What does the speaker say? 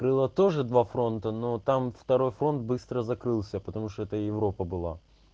было тоже два фронта но там второй фронт быстро закрылся потому что это европа была